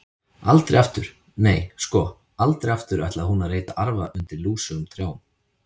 Aldrei aftur, nei, sko, aldrei aftur ætlaði hún að reyta arfa undir lúsugum trjám.